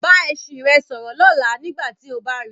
Bá ẹṣin rẹ sọ̀rọ̀ lọ́la nígbà tí ó bá ri.